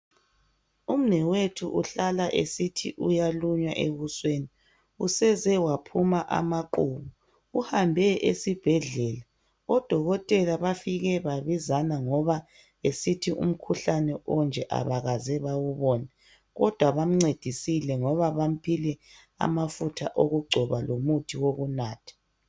umnewethu uhlala esithi uyalunywa ebusweni useze waphuma amaqhubu uhambe esibhedlela odokotela bafike babizana ngoba esethi umkhuhlane onje abakaze bewubone kodwa bamncedisile ngoba bamuphe amafutha wokugcoba lomuthi wokunatha